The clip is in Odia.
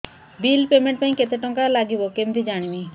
ବିଲ୍ ପେମେଣ୍ଟ ପାଇଁ କେତେ କେତେ ଟଙ୍କା ଲାଗିବ କେମିତି ଜାଣିବି